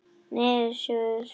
Niðurskurður allsráðandi